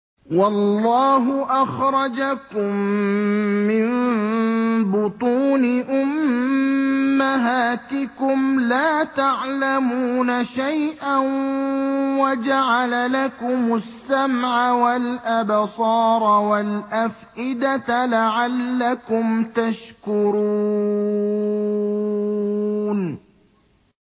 وَاللَّهُ أَخْرَجَكُم مِّن بُطُونِ أُمَّهَاتِكُمْ لَا تَعْلَمُونَ شَيْئًا وَجَعَلَ لَكُمُ السَّمْعَ وَالْأَبْصَارَ وَالْأَفْئِدَةَ ۙ لَعَلَّكُمْ تَشْكُرُونَ